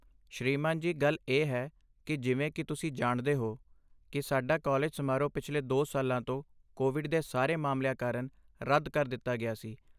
ਸ੍ਰੀਮਾਨ ਜੀ, ਗੱਲ ਇਹ ਹੈ ਕਿ ਜਿਵੇਂ ਕੀ ਤੁਸੀਂ ਜਾਣਦੇ ਹੋ ਕੀ ਸਾਡਾ ਕਾਲਜ ਸਮਾਰੋਹ ਪਿਛਲੇ ਦੋ ਸਾਲਾਂ ਤੋਂ ਕੋਵਿਡ ਦੇ ਸਾਰੇ ਮਾਮਲਿਆਂ ਕਾਰਨ ਰੱਦ ਕਰ ਦਿੱਤਾ ਗਿਆ ਸੀ